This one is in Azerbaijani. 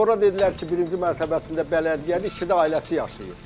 Sonra dedilər ki, birinci mərtəbəsində bələdiyyədir, ikidə ailəsi yaşayır.